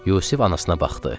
Yusif anasına baxdı.